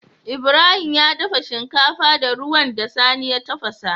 Ibrahim ya dafa shinkafa da ruwan da sani ya tafasa